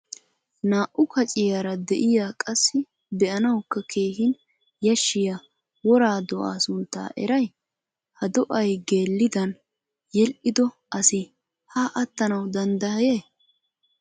naa''u kacciyaara de'iyaa qassi be'anawukka keehin yashshiya wora do'a sunntaa eray? ha do'ay geliddan yedhdhido asi ha attanaw dandday ?